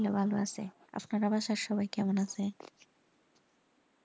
ভালো আছে আপনার বাসায় সবাই কেমন আছে?